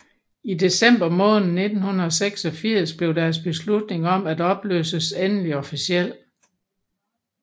I december måned 1986 blev deres beslutning om at opløses endelig officiel